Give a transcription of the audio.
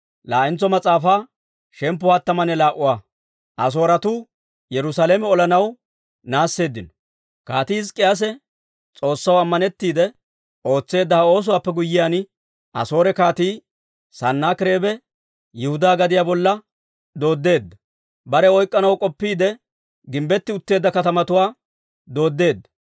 Kaatii Hizk'k'iyaase S'oossaw ammanettiide ootseedda ha oosuwaappe guyyiyaan, Asoore Kaatii Sanaakireebe Yihudaa gadiyaa bolla dooddeedda; barew oyk'k'anaw k'oppiide, gimbbettu utteedda katamatuwaa dooddeedda.